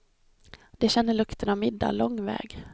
De känner lukten av middag lång väg.